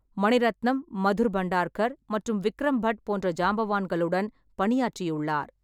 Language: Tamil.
மணிரத்னம், மதுர் பண்டார்கர் மற்றும் விக்ரம் பட் போன்ற ஜாம்பவான்களுடன் பணியாற்றியுள்ளார்.